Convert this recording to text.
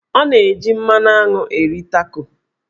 Ọ na-eji mmanụ aṅụ eri Taco.